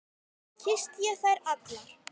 Kyssti ég þær allar.